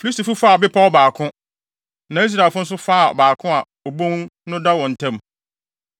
Filistifo faa bepɔw baako, na Israelfo no nso faa baako a obon no da wɔn ntam.